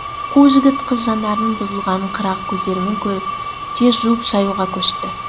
қу жігіт қыз жанарының бұзылғанын қырағы көздерімен көріп тез жуып шаюға көшті